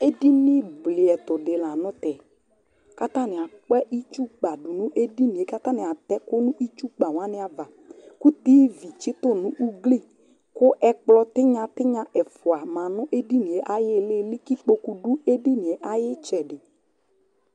ɛdini bliɛtʋ di lantɛ kʋatani akpa itsʋ kpa dʋnʋ ɛdiniɛ kʋ atani atɛ ɛkʋ nʋ itsʋ kpa wani aɣa kʋ tv tsitʋ nʋ ʋgli kʋ ɛkplɔ tinya ɛƒʋa manʋ ɛdiniɛ ayili kʋ ikpɔkʋ lɛnʋ itsɛdi